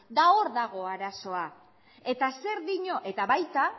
hor dago arazoa eta zer dio eta baita